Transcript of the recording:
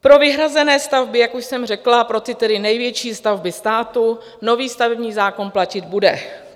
Pro vyhrazené stavby, jak už jsem řekla, pro ty největší stavby státu nový stavební zákon platit bude.